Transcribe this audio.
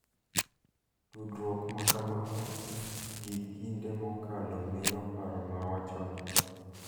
Tudruok ma kamano gi kinde mokalo miyo paro ma wacho ni .